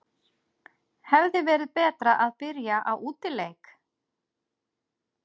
Hefði verið betra að byrja á útileik?